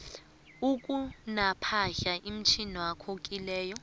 akunapahla etjhiywako kileyo